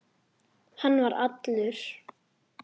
Hann var allur.